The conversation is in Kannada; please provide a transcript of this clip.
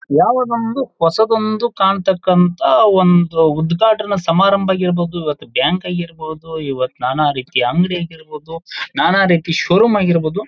ಯಾವದೊಂದು ಹೊಸತೊಂದು ಕಾಣ್ತಕ್ಕಂತ ಒಂದು ಉದ್ಘಾಟನಾ ಸಮಾರಂಭ ಇರ್ಬೋದು ಅಥವಾ ಬ್ಯಾಂಕ್ ಆಗಿರ್ಬೋದು ಇವತ್ತು ನಾನಾ ರೀತಿಯ ಅಂಗಡಿ ಆಗಿರ್ಬೋದು ನಾನಾ ರೀತಿ ಷೋ ರೂಮ್ ಆಗಿರ್ಬೋದು.